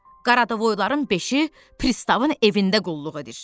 Qaradovoyların beşi Pristavın evində qulluq edir.